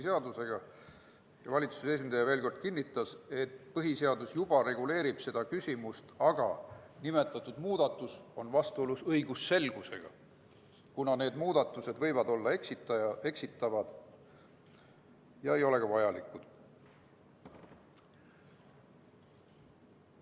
Seepeale kinnitas valitsuse esindaja veel kord, et põhiseadus juba reguleerib seda küsimust, küll aga on nimetatud muudatus vastuolus õigusselgusega, kuna see muudatus võib olla eksitav ega ole ka vajalik.